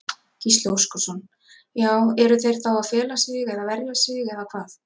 Gísli Óskarsson: Já eru þeir þá að fela sig eða verja sig eða hvað?